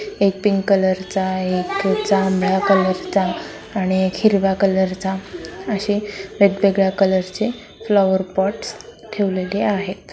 एक pink colour चा आहे एक जांभळा कलर चा आणि एक हिरवा कलर चा असे वेगवेगळा कलर चे फ्लॉवर पॉट्स ठेवलेले आहे.